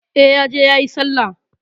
E, ya je yayi Sallah.